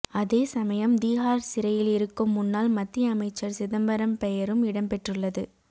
அதேசமயம் திஹார் சிறையில் இருக்கும் முன்னாள் மத்திய அமைச்சர் சிதம்பரம் பெயரும் இடம் பெற்றுள்ளது